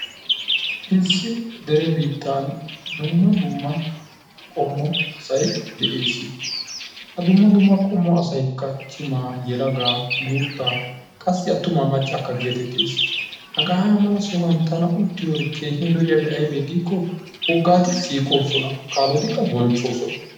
issi dere biittan dumma dumma zaytee dees. ha dumma dumma qommo asaykka ba yelaga qa attuma maccakka geetettees. hegaa mala sohuwan tana uttiyode keehippe lo'iyabi aybee giiko wogaati siiqoosona, kaalotiqa bonchoosona.